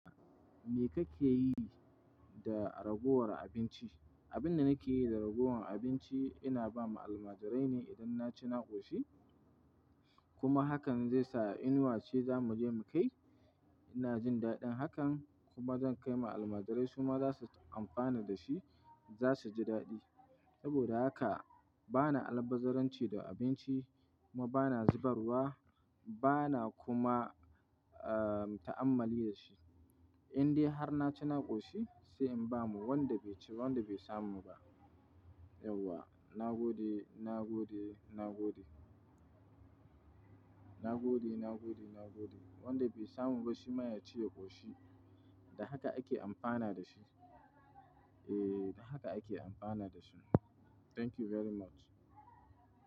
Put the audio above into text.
Me kake yi da ragowar abinci? Abin da nake yi da ragowar abinci ina ba ma almajirai ne idan na ci na ƙoshi. Kuma hakan zai sa inuwa ce za mu je mu kai. Ina jin daɗin hakan kuma zan kai ma almajirai su ma za su amfana da shi, za su ji daɗi. Saboda haka bana albazaranci da abinci kuma bana zubarwa, bana kuma, ah, ta'ammali da shi. Indai har na ci na ƙoshi sai in ba wanda bai ci, wanda bai samu ba. Yauwa, na gode, na gode, na gode. Na gode, na gode, na gode. Wanda bai samu ba shi ma ya ci ya ƙoshi. Da haka ake amfana da shi. Eh, da haka ake amfana da shi. Thank you very much.